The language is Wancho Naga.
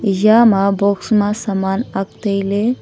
Yama box ma saman ak tailey.